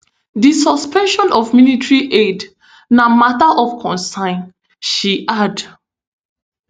di suspension of military aid na mata of concern she add